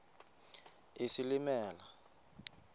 isilimela